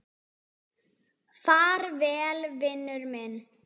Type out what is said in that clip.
Far vel, vinur minn.